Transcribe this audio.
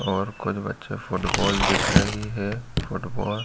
और कुछ बच्चे फुटबॉल दिख रही है। फुटबॉल --